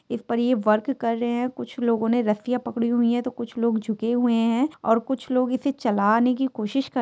इस पर ये वर्क कर रहे हैं कुछ लोग ने रसिया पकड़ी हुई हैं तो कुछ लोग झुके हुए हैंऔर कुछ लोग इसे चलाने की कोशिश कर--